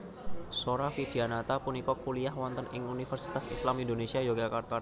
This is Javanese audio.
Zora Vidyanata punika kuliyah wonten ing Universitas Islam Indonesia Yogyakarta